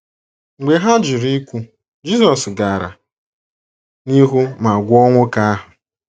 Mgbe ha jụrụ ikwu, Jisọs gara n’ihu ma gwọọ nwoke ahụ.